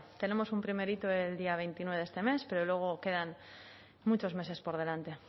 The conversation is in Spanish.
tenemos un primer hito el día veintinueve de este mes pero luego quedan muchos meses por delante